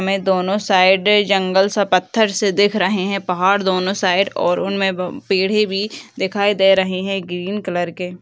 में दोनों साइड जंगल सा पत्थर सा दिख रहें हैं पहाड़ दोनों साइड और उनमें ब पेड़ें भी दिखाई दे रहें हैं ग्रीन कलर के।